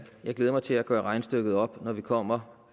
glæder mig til at gøre regnestykket op når vi kommer